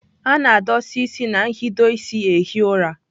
A na-adụsa ịsị na nhido ịsị ehi ụra.